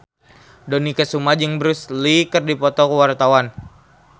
Dony Kesuma jeung Bruce Lee keur dipoto ku wartawan